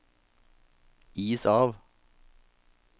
is av